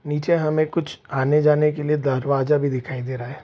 नीचे हमें कुछ आने-जाने के लिए दरवाजा भी दिखाई दे रहा है।